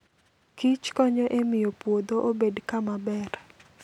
kich konyo e miyo puodho obed kama ber.